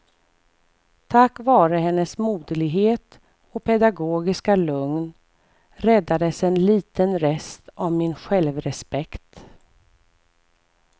Tack vare hennes moderlighet och pedagogiska lugn räddades en liten rest av min självrespekt.